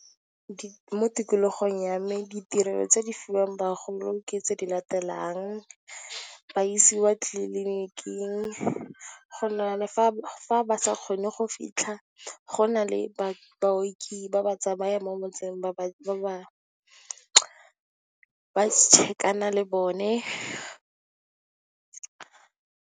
Mo tikologong ya me ditirelo tse di fiwang bagolo ke tse di latelang, ba isewa tliliniking, fa ba sa kgone go fitlha, go na le baoki ba ba tsamayang mo motseng ba tšhekana le bone.